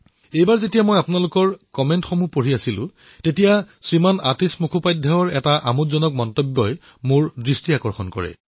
এইবাৰ যেতিয়া মই আপোনালোকৰ মন্তব্য পঢ়ি আছিলো তেতিয়া আতীশ মুখোপধ্যায়জীৰ এটা আমোদজনক টিপ্পনী চকুত পৰিল